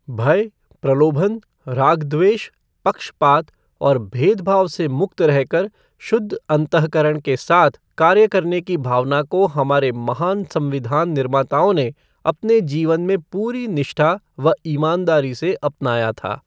भय, प्रलोभन, राग द्वेष, पक्षपात और भेदभाव से मुक्त रहकर शुद्ध अन्तःकरण के साथ कार्य करने की भावना को हमारे महान संविधान निर्माताओं ने अपने जीवन में पूरी निष्ठा व ईमानदारी से अपनाया था।